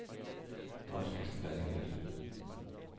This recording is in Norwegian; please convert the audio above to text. Marcus Berger